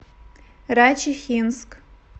райчихинск